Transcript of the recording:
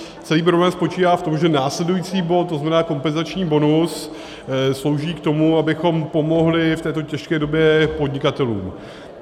Celý problém spočívá v tom, že následující bod, to znamená kompenzační bonus, slouží k tomu, abychom pomohli v této těžké době podnikatelům.